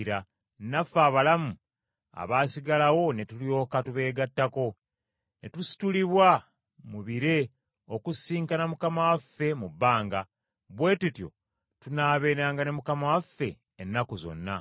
naffe abalamu abaasigalawo ne tulyoka tubeegattako, ne tusitulibwa mu bire okusisinkana Mukama waffe mu bbanga; bwe tutyo tunaabeeranga ne Mukama waffe ennaku zonna.